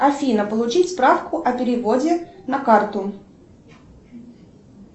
афина получить справку о переводе на карту